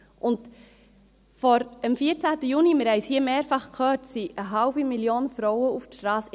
Am 14. Juni – wir haben es hier mehrfach gehört – ging eine halbe Million Frauen auf die Strasse.